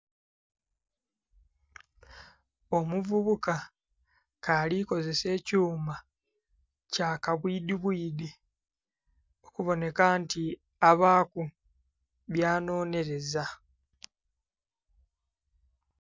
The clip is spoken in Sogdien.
Omuvubuka ke alikozesa ekyuma kya kabwidhi bwidhi okuboneka nti abaku bya nhonhereza.